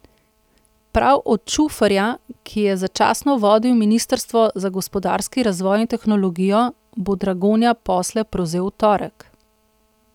Prav od Čuferja, ki je začasno vodil ministrstvo za gospodarski razvoj in tehnologijo, bo Dragonja posle prevzel v torek.